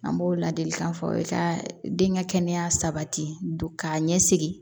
An b'o ladilikan fɔ aw ye ka den ka kɛnɛya sabati k'a ɲɛsin